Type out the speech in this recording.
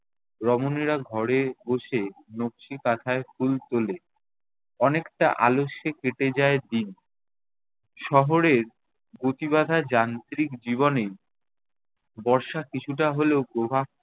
রমণীরা ঘরে বসে নকশি কাঁথায় ফুল তোলে। অনেকটা আলস্যে কেটে যায় দিন। শহরের গতিবাঁধা যান্ত্রিক জীবনে বর্ষা কিছুটা হলেও প্রভাব